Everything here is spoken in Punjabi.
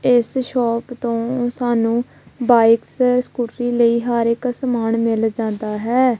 ਇੱਸ ਸ਼ੌਪ ਤੋਂ ਸਾਨੂੰ ਬਾਇਕਸ ਸਕੂਟਰੀ ਲਈ ਹਰ ਇੱਕ ਸਮਾਨ ਮਿੱਲ ਜਾਂਦਾ ਹੈ।